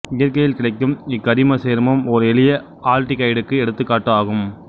இயற்கையில் கிடைக்கும் இக்கரிமச் சேர்மம் ஓர் எளிய ஆல்டிகைடுக்கு எடுத்துக்காட்டு ஆகும்